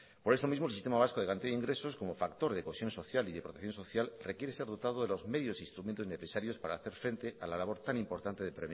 por esto mismo el sistema vasco de garantía de ingresos como factor de cohesión social y de protección social requiere ser dotado de los medios e instrumentos necesarios para hacer frente a la labor tan importante de